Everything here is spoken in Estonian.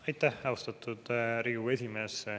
Aitäh, austatud Riigikogu esimees!